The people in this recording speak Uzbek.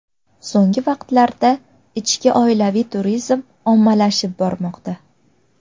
So‘nggi vaqtlarda ichki oilaviy turizm ommalashib bormoqda.